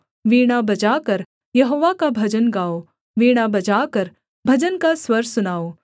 वीणा बजाकर यहोवा का भजन गाओ वीणा बजाकर भजन का स्वर सुनाओ